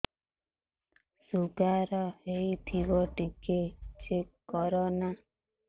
sugar ହେଇଥିବ ଟିକେ check କର ନା